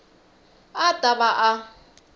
a a ta va a